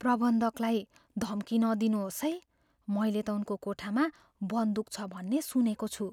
प्रबन्धकलाई धम्की नदिनुहोस् है। मैले त उनको कोठामा बन्दुक छ भन्ने सुनेको छु।